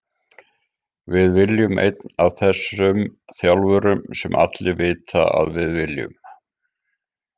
Við viljum einn af þessum þjálfurum sem allir vita að við viljum.